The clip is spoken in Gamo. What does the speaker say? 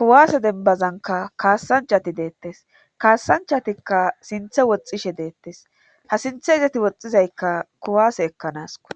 kuwasse dembazankka kaasanchati deetees. kaasanchati sinththe woxxishe deetees. ha sinthe izeti woxizaykka kuwase ekkanasikko.